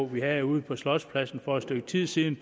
vi havde ude på slotspladsen for et stykke tid siden